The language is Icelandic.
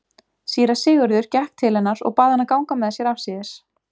Síra Sigurður gekk til hennar og bað hana ganga með sér afsíðis.